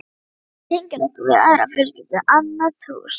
Gína tengir okkur við aðra fjölskyldu, annað hús.